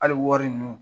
Hali wari ninnu